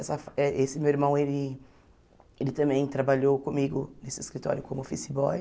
Essa eh esse meu irmão, ele ele também trabalhou comigo nesse escritório como office boy,